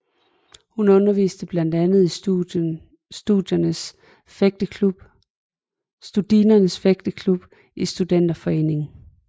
Hun underviste blandt andet i Studinernes Fægteklub i Studenterforeningen